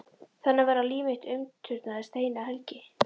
Þannig var að líf mitt umturnaðist eina helgi.